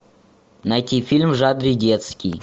найти фильм в жанре детский